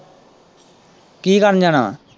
ਕੀ ਕਰਨ ਜਾਣਾ।